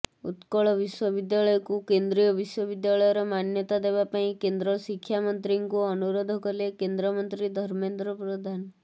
ଉତ୍କଳ ବିଶ୍ୱବିଦ୍ୟାଳୟକୁ କେନ୍ଦ୍ରୀୟ ବିଶ୍ୱବିଦ୍ୟାଳୟର ମାନ୍ୟତା ଦେବା ପାଇଁ କେନ୍ଦ୍ର ଶିକ୍ଷା ମନ୍ତ୍ରୀଙ୍କୁ ଅନୁରୋଧ କଲେ କେନ୍ଦ୍ରମନ୍ତ୍ରୀ ଧର୍ମେନ୍ଦ୍ର ପ୍ରଧାନ